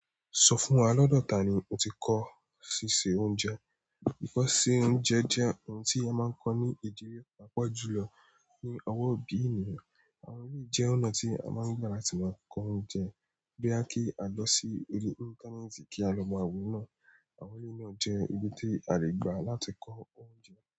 Sọ fún wa, lọ́dọ̀ ta ni o ti kọ́ ṣíṣe oúnjẹ? Ìkọ́ ṣe oúnjẹ jẹ́ ohun tí a máa ń kọ́ ní ìdílé àpọ̀jùlọ ní ọwọ́ òbí ènìyàn. Àwọn èyí jẹ ọnà a máa gbà láti máa kọ oúnjẹ bóyá kí à lọ sí orí íńtánẹ́ẹ̀tì kí a lọ mọ maa wo náà. Àwọn eleyi náà jẹ́ ọ̀nà tí a lè gbà láti kọ́ oúnjẹ.